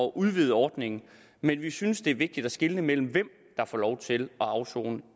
udvide ordningen men vi synes også det er vigtigt at skelne mellem hvem der får lov til at afsone